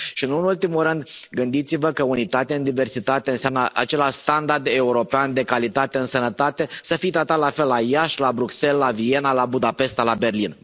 Și nu în ultimul rând, gândiți vă că unitate în diversitate înseamnă același standard european de calitate în sănătate, să fii tratat la fel la Iași, la Bruxelles, la Viena, la Budapesta, la Berlin.